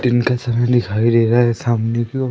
दिन का समय दिखाई दे रहा है सामने की ओर--